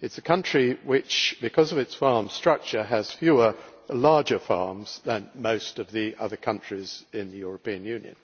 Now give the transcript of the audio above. It is a country which, because of its farm structure, has fewer larger farms than most of the other countries in the European Union.